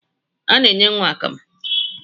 A na-enye nwa akamụ